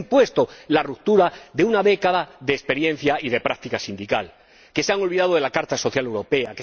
Que se ha impuesto la ruptura de una década de experiencia y de práctica sindical. Que se han olvidado de la Carta Social Europea.